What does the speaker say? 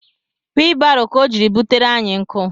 Weebaro ka ọ jiri butere anyị nkụ